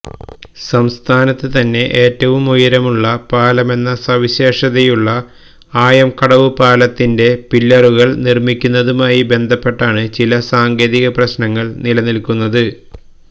സംസ്ഥാനത്ത് തന്നെ ഏറ്റവും ഉയരമുള്ള പാലമെന്ന സവിശേഷതയുള്ള ആയംകടവു പാലത്തിന്റെ പില്ലറുകള് നിര്മ്മിക്കുന്നതുമായി ബന്ധപ്പെട്ടാണ് ചില സാങ്കേതിക പ്രശ്നങ്ങള് നിലനില്ക്കുന്നത്